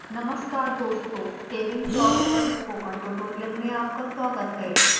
नमस्कार दोस्तों saving plots पर स्पोकन ट्यूटोरियल में आपका स्वागत है